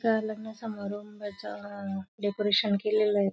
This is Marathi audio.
त्या लग्न समारंभाच अ डेकोरेशन केलेले आहे.